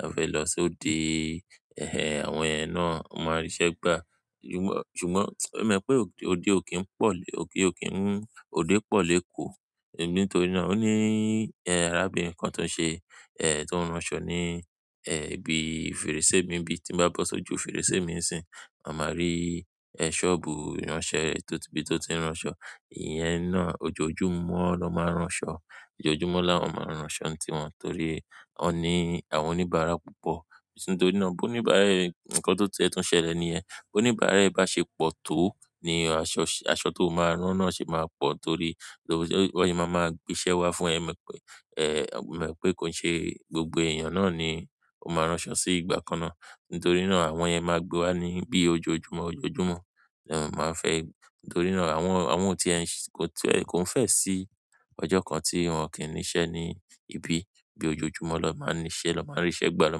a fẹ́ lọ sí òde, ehh, àwọn yẹn náà, won ó máa ń ríṣẹ́ gbà. Ṣùgbọ́n, ode o ki n po, ode ki n, ode po l'eko. Sebi nítorí náà ó ní, ehh, arábìnrin kan tó ń ṣe, ehh, tó ń rán aṣọ ní, ehh, ibi fèrèsé mi bí i tí bá bọ́ sójú fèrèsé mi sí, a máa rí, ehh, ṣọ́ọ̀bù ránṣẹ́ tó ti, bí tó ti ń rán aṣọ. Ìyẹn náà ojoojúmọ́ lo máa ń rán aṣọ, ojoojúmọ́ láwọn máa ń rán aṣọ tiwọn torí wón ní àwọn oníbàárà púpọ̀. Nítorí náà bó oníbàárà ẹ̀, nǹkan tó tiẹ́ túń ṣẹlẹ̀ ní yẹn, bó oníbàárà ẹ̀ bá ṣe pọ̀ tó ni aṣọ, aṣọ tó máa rán náà ṣe máa pọ̀ torí, bí wón se máa ma gbe iṣẹ́ wá fún ẹ. Mo ma pé, ehh, mo ma wi pé kò ṣe gbogbo èèyàn náà ni ó máa rán aṣọ sí ìgbà kan ná. Nítorí náà àwọn yẹn máa gbé wá ní bí ojoojúmọ́, ojoojúmọ́, la won eeyan máa ń fẹ́, nítorí náà àwọn, àwọn tí ẹ ń ṣe, tí ẹ kò ń fẹ́ sí ọjọ́ kan tí wọn kì í níṣẹ́ ní ibí, bí ojoojúmọ́ lo máa ń níṣẹ́, lọ máa ń ríṣẹ́ gbà, lọ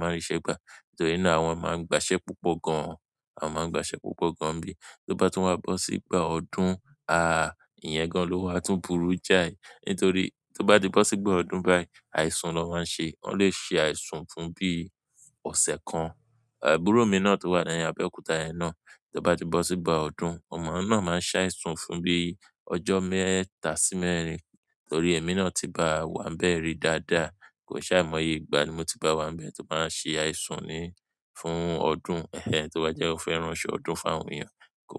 máa ń ríṣẹ́ gbà. Nítorí náà àwọn máa ń gba iṣẹ́ púpọ̀ gan-an, àwọn máa ń gba iṣẹ́ púpọ̀ gan bí i tó bá tún wá bọ́ sígbà ọdún, ahhh, ìyẹn gan ló wà tún burú jáì. Nítorí tó bá ti bọ́ sígbà ọdún báyìí, àìsùn ló máa ń ṣe. Wọn lè ṣe àìsùn fún bí i ọ̀sẹ̀ kan. Àbúrò mi náà tó wà ní Abẹ́òkúta yẹn náà tó bá ti bọ́ sígbà ọdún, oun náà máa ń ṣẹ́ àìsùn fún bí i ọjọ́ mẹ́ta sí mẹ́rin torí èmi náà tí ba wá ń bẹ̀rí dáadáa. Kò ṣe àìmoye ìgbà ni mo ti bá wá ń bẹ̀ tí ó báa ń ṣe àìsùn ni fún ọdún, ehh, tí wọ́n bá jẹ́ wọ́n fẹ́ rán aṣọ ọdún fún àwọn èèyàn kọ́